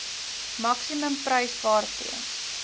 maksimum prys waarteen